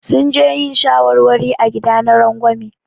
Sun je yin shawarwari a gida na rangwame.